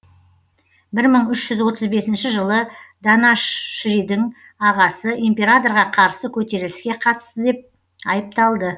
бір мың үш жүз отыз бесінші жылы данашшридің ағасы императорға қарсы көтеріліске қатысты деп айыпталды